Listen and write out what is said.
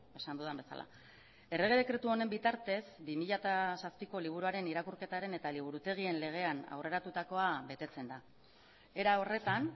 esan dudan bezala errege dekretu honen bitartez bi mila zazpiko liburuaren irakurketaren eta liburutegien legean aurreratukoa betetzen da era horretan